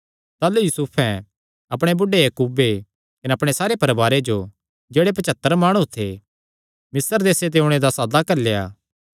ताह़लू यूसुफैं अपणे बुढ़े याकूबे कने अपणे सारे परवारे जो जेह्ड़े पचत्तर माणु थे मिस्र देसे च ओणे दा सादा घल्लेया